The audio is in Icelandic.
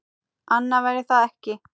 Annað væri það ekki.